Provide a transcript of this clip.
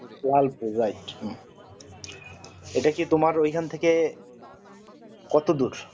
Lalpur right এটা কি তোমার ওইখান থেকে কত দূর